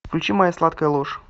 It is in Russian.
включи моя сладкая ложь